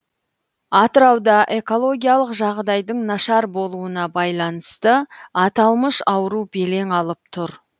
атырауда экологиялық жағдайдың нашар болуына байланысты аталмыш ауру белең алып тұр